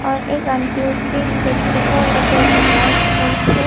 एक आंटी अपने बच्चों को लेकर जा रहा है स्कूल से।